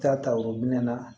Taa ta o minɛn na